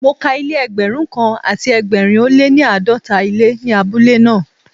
Mo ka ilé Ẹgbẹ̀rún kan àti ẹgbẹ̀rin ó lé ní àádọ́ta ilé ní abúlé náà.